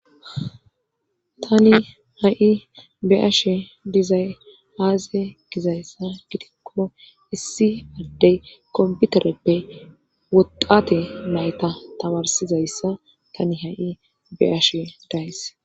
Tani ha7i be'ashe dizay aaze gizayssa gidikko issi addey komputereppe woxate nayta tamarsizayssa tani ha7i bea'she days.